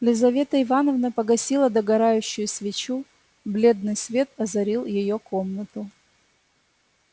елизавета ивановна погасила догорающую свечу бледный свет озарил её комнату